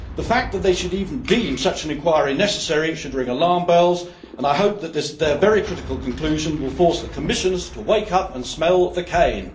The fact that they should even deem such an inquiry necessary should ring alarm bells, and I hope that their very critical conclusion will force the Commissioners to wake up and smell the cane.